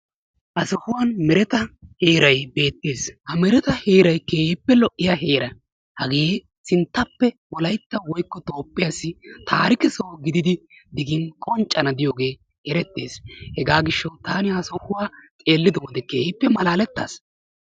Ha sohuwan mereta heeray beettes. Ha mereta heeray keehippe lo"iya heera. Hagee sinttappe wolayitta woykko Toophphiyaassi taarike soho gididi digin qonccana diyogee erettees. Hegaa gishshawu taani ha sohuwaa xeellido wode keehippe malaalettas.